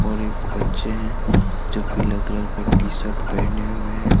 और एक बच्चे हैं जो पिला कलर की टी शर्ट पहने हुए है।